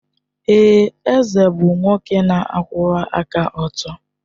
Èè, eze bụ nwoke na-akwụwa aka ọtọ.